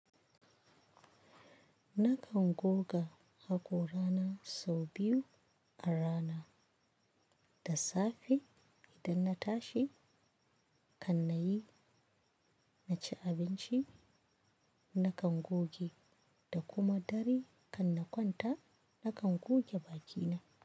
Nakan goga haƙora na sau biyu a rana. Da safe idan na tashi kan na yi, na ci abinci, na kan goge da kuma dare kan na kwanta na kan goge bakina.